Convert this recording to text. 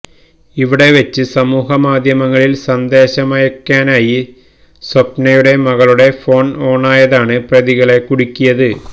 ഇവിടെ വച്ച് സമൂഹമാധ്യമങ്ങളിൽ സന്ദേശമയക്കാനായി സ്വപ്നയുടെ മകളുടെ ഫോൺ ഓണായതാണ് പ്രതികളെ കുടുക്കിയത്